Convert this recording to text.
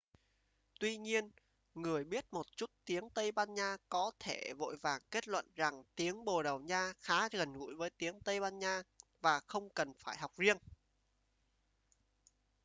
tuy nhiên người biết một chút tiếng tây ban nha có thể vội vàng kết luận rằng tiếng bồ đào nha khá gần gũi với tiếng tây ban nha và không cần phải học riêng